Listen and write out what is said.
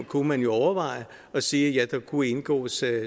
kunne overveje at sige at der kunne indgås